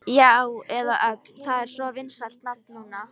Já, eða þá Ögn, það er svo vinsælt nafn núna.